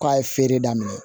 K'a ye feere daminɛ